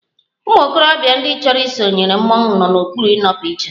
Ụmụ okorobịa ndị chọrọ isonyere mmọnwụ nọ n'okpuru ịnọpụ iche